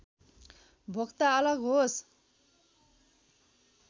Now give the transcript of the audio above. भोक्ता अलग होस्